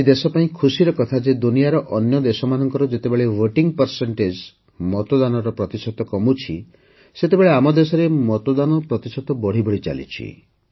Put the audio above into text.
ଆଜି ଦେଶ ପାଇଁ ଖୁସିର କଥା ଯେ ଦୁନିଆର ଅନ୍ୟ ଦେଶମାନଙ୍କରେ ଯେତେବେଳେ ଭୋଟିଂ ପରସେଣ୍ଟେଜ୍ ମତଦାନର ପ୍ରତିଶତ କମୁଛି ସେତେବେଳେ ଆମ ଦେଶରେ ମତଦାନ ପ୍ରତିଶତ ବଢ଼ି ବଢ଼ି ଚାଲିଛି